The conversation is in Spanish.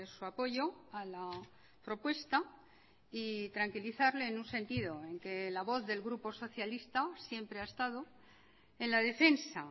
su apoyo a la propuesta y tranquilizarle en un sentido en que la voz del grupo socialista siempre ha estado en la defensa